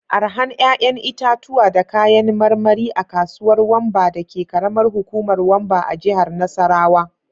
Arahan 'ƴa'ƴan itatuwa da kayan marmari a kasuwar Wamba dake karamar hukumar Wamba a jihar Nasarawa.